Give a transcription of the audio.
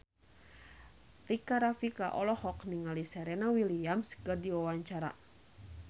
Rika Rafika olohok ningali Serena Williams keur diwawancara